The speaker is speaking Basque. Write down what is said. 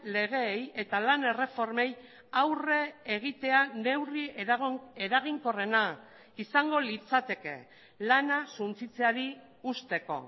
legeei eta lan erreformei aurre egitea neurri eraginkorrena izango litzateke lana suntsitzeari uzteko